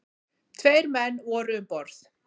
Tveir menn voru um borð.